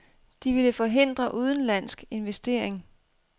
De ville forhindre udenlandsk investering.